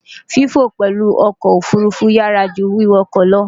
Fífò pèlú okò òfurufú yááju wíwakò lo